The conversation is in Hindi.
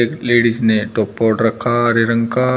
एक लेडीज ने टोपा ओढ रखा हरे रंग का।